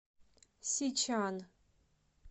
сичан